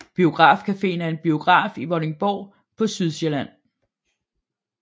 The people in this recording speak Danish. Biograf Caféen er en biograf i Vordingborg på Sydsjælland